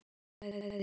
Þetta sagði ég.